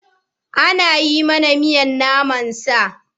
An yi mana miyar naman sa.